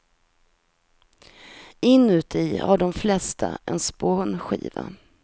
Inuti har de flesta en spånskiva.